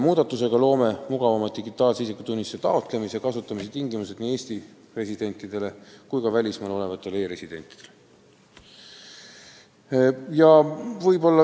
Muudatusega loome mugavamad digitaalse isikutunnistuse taotlemise ja kasutamise tingimused nii Eesti residentidele kui ka välismaal olevatele e-residentidele.